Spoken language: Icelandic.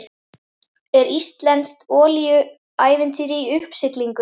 Er íslenskt olíuævintýri í uppsiglingu?